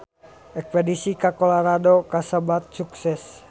Espedisi ka Colorado kasebat sukses